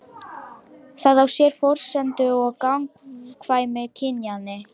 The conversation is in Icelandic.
Það á sér forsendu í gagnkvæmni kynjanna.